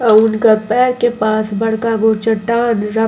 अ उनका पैर के पास बड़का गो चट्ठान बा।